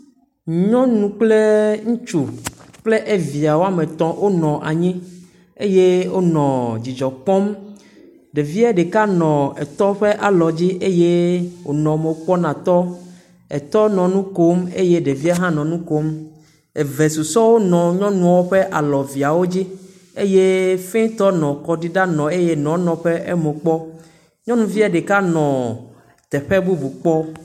Nyɔnu kple ŋutsu kple evia woame etɔ̃ wonɔ anyi, eye wonɔ dzidzɔ kpɔm, ɖevie ɖeka nɔ etɔ ƒe alɔdzi eye wònɔ mo kpɔm na etɔɔ, etɔ nɔ nu kom eye ɖevie hã nɔ nu kom, eve susɔewo hã nɔ nyɔnu ƒe alɔ eveawo dzi, eye fɛtɔ nɔ kɔ ɖim na enɔ eye enɔ nɔ eƒe mo kpɔm. Nyɔnuvie nɔ teƒe bubu kpɔm.